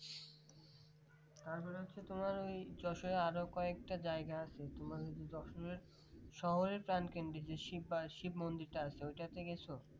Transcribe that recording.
তারপরে হচ্ছে তোমার ওই যশোর আরো কয়েকটা জায়গা আছে তোমার ওই যশোর এর শহরের তালকানজিসি শ্রী শিব মন্দির টা আছে। ওইটাতে গেছো